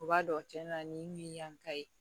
U b'a dɔn cɛn na nin yanka ye